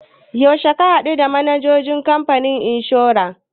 Yaushe ka haɗu the manajan kamfanin inshora?